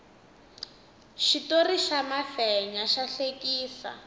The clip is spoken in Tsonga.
xitori xa mafenya xa hlekisa